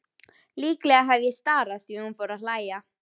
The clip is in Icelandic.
Líklega hef ég starað því hún fór að hlæja.